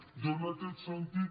jo en aquest sentit